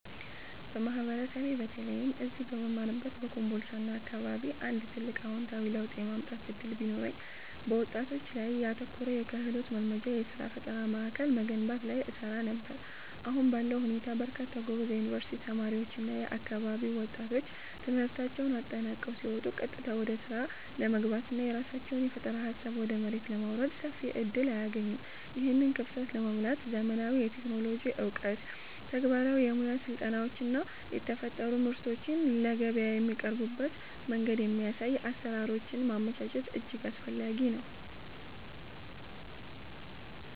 በማህበረሰቤ በተለይም እዚህ በምማርበት በኮምቦልቻና አካባቢው አንድ ትልቅ አዎንታዊ ለውጥ የማምጣት ዕድል ቢኖረኝ፣ በወጣቶች ላይ ያተኮረ የክህሎት ማልማጃና የሥራ ፈጠራ ማዕከል መገንባት ላይ እሰራ ነበር። አሁን ባለው ሁኔታ በርካታ ጎበዝ የዩኒቨርሲቲ ተማሪዎችና የአካባቢው ወጣቶች ትምህርታቸውን አጠናቀው ሲወጡ ቀጥታ ወደ ሥራ ለመግባትና የራሳቸውን የፈጠራ ሃሳብ ወደ መሬት ለማውረድ ሰፊ ዕድል አያገኙም። ይህንን ክፍተት ለመሙላት ዘመናዊ የቴክኖሎጂ ዕውቀት፣ ተግባራዊ የሙያ ስልጠናዎችና የተፈጠሩ ምርቶችን ለገበያ የሚያቀርቡበትን መንገድ የሚያሳዩ አሰራሮችን ማመቻቸት እጅግ አስፈላጊ ነው።